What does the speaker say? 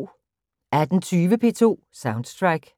18:20: P2 Soundtrack